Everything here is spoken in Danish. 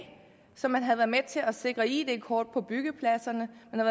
som man havde været med til at sikre id kort på byggepladserne